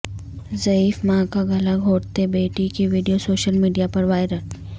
ضعیف ماں کا گلا گھونٹتے بیٹی کی ویڈیو سوشل میڈیا پر وائر ل